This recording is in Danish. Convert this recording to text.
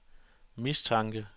mistanke